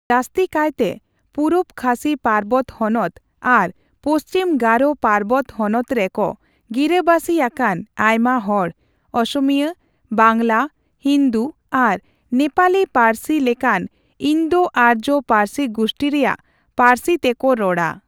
ᱡᱟᱹᱥᱛᱤᱠᱟᱭᱛᱮ ᱯᱩᱚᱯ ᱠᱷᱟᱥᱤ ᱯᱟᱨᱵᱚᱛᱚ ᱦᱚᱱᱚᱛ ᱟᱨ ᱯᱚᱪᱷᱤᱢ ᱜᱟᱨᱳ ᱯᱟᱨᱵᱚᱛᱚ ᱦᱚᱱᱚᱛ ᱨᱮ ᱠᱚ ᱜᱤᱨᱟᱹ ᱵᱟᱥᱤ ᱟᱠᱟᱱ ᱟᱭᱢᱟ ᱦᱚᱲ ᱚᱥᱢᱤᱭᱟ, ᱵᱟᱝᱞᱟ, ᱦᱤᱱᱫ ᱟᱨ ᱱᱮᱯᱟᱞᱤ ᱯᱟᱹᱨᱥᱤ ᱞᱮᱠᱟᱱ ᱤᱱᱫᱚᱼᱟᱨᱡᱚ ᱯᱟᱹᱨᱥᱤᱜᱩᱥᱴᱤ ᱨᱮᱭᱟᱜ ᱯᱟᱹᱨᱥᱤ ᱛᱮ ᱠᱚ ᱨᱚᱲᱟ ᱾